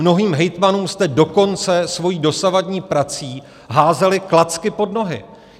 Mnohým hejtmanům jste dokonce svojí dosavadní prací házeli klacky pod nohy.